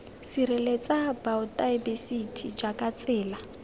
sireletsa baotaebesithi jj jaaka tsela